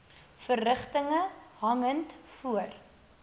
verrigtinge hangend voor